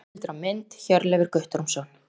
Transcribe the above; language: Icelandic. Heimildir og mynd: Hjörleifur Guttormsson.